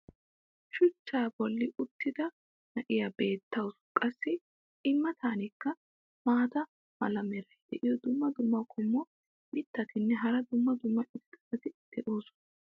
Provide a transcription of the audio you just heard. shuchchaa boli uttida na'ya beetawusu. qassi i matankka maata mala meray diyo dumma dumma qommo mitattinne hara dumma dumma irxxabati de'oosona.